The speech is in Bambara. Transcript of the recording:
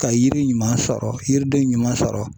Ka yiri ɲuman sɔrɔ yiriden ɲuman sɔrɔ